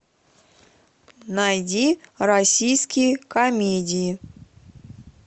найди российские комедии